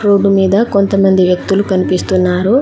Road మీద కొంతమంది వ్యక్తులు కనిపిస్తున్నారు.